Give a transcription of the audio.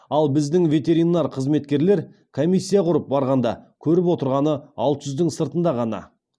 ал біздің ветеринар қызметкерлер комиссия құрып барғанда көріп отырғаны алты жүздің сыртында ғана